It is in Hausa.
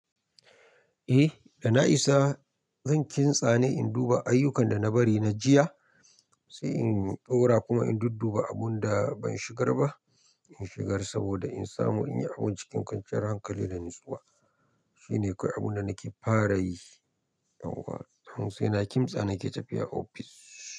Eh da na isa zan ƙin tsane in duba ayyukan da na bari na jiya sai in ɗaura kuma in dudduba abun da ban shigar ba in shigar saboda in samu in yi abun cikin kwanciyar hankali da natsuwa. Shi ne kawai abun da nake fara yi. Yauwa don saina kimtsa nake tafiya offis.